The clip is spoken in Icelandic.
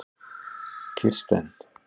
Kirsten